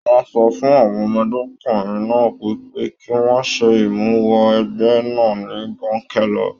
Wọn sọ fún àwọn ọmọdékunrin náà wipe ki wọn ṣe imuwọ̀ ẹgbẹ náà ni bonkẹlẹ.